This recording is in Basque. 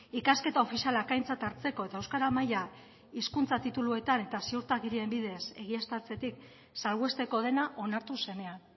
ikasketa ofizialak aintzat hartzeko eta euskara maila hizkuntza tituluetan eta ziurtagirien bidez egiaztatzetik salbuesteko dena onartu zenean